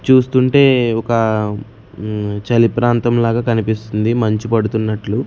చూస్తుంటే ఒకా మ్మ్ చలి ప్రాంతం లాగా కనిపిస్తుంది మంచు పడుతున్నట్లు--